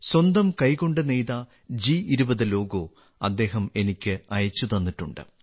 സ്വന്തം കൈകൊണ്ട് നെയ്ത ജി20 ലോഗോ അദ്ദേഹം എനിക്ക് അയച്ചുതന്നിട്ടുണ്ട്